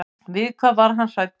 Við hvað var hann hræddur?